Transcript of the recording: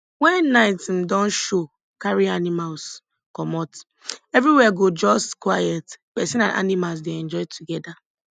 wen night um don show carry animals comot everywhere go just quiet persin and animals dey enjoy together